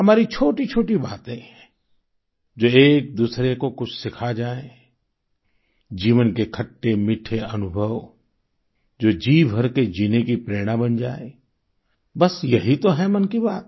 हमारी छोटीछोटी बातें जो एकदूसरे को कुछ सिखा जाये जीवन के खट्टेमीठे अनुभव जो जीभर के जीने की प्रेरणा बन जाये बस यही तो है मन की बात